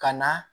Ka na